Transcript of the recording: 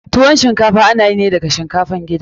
Tuwon shinkafa ana yi daga shinkafan gida ne.